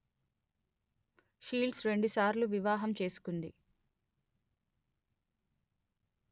shields రెండుసార్లు వివాహం చేసుకుంది